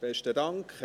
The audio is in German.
Besten Dank.